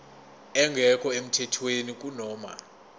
engekho emthethweni kunoma